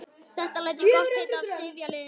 Þetta læt ég gott heita af sifjaliði mínu.